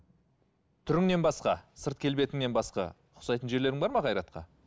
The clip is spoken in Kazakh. түріңнен басқа сырт келбетіңнен басқа ұқсайтын жерлерің бар ма қайратқа